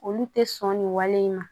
Olu tɛ sɔn nin wale in ma